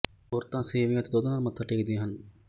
ਔਰਤਾਂ ਸੇਵੀਆਂ ਅਤੇ ਦੁੱਧ ਨਾਲ ਮੱਥਾ ਟੇਕਦੀਆ ਹਨ